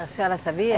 A senhora sabia?